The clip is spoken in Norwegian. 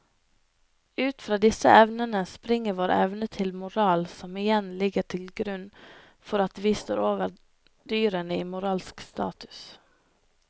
Ut fra disse evnene springer vår evne til moral som igjen ligger til grunn for at vi står over dyrene i moralsk status.